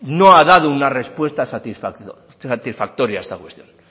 no ha dado una respuesta satisfactoria a esta cuestión